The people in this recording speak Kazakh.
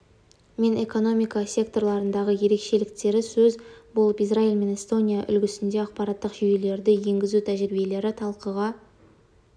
мен экономика секторларындағы ерекшеліктері сөз болып израиль мен эстония үлгісінде ақпараттық жүйелерді енгізу тәжірибелері талқыға